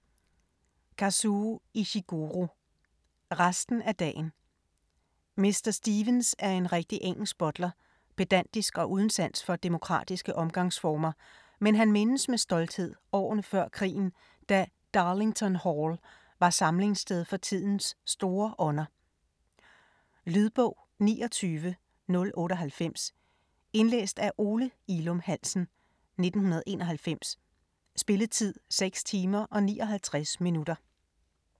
Ishiguro, Kazuo: Resten af dagen Mr. Stevens er en rigtig engelsk butler, pedantisk og uden sans for demokratiske omgangsformer, men han mindes med stolthed årene før krigen, da "Darlington Hall" var samlingssted for tidens store ånder. Lydbog 29098 Indlæst af Ole Ilum Hansen, 1991. Spilletid: 6 timer, 59 minutter.